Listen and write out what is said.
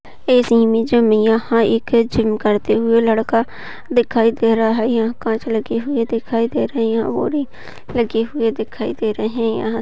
यहाँ एक जिम करते हुए लड़का दिखाई दे रहा यहा काच लगी हुई दिखाई दे रही है और एक लगे हुए दिखाई दे रहे है यहा--